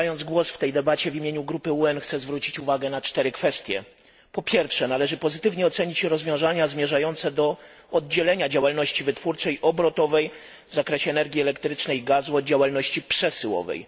Zabierając głos w tej debacie w imieniu grupy UEN, chcę zwrócić uwagę na cztery kwestie. Po pierwsze, należy pozytywnie ocenić rozwiązania zmierzające do oddzielenia działalności wytwórczej, obrotowej w zakresie energii elektrycznej i gazu od działalności przesyłowej.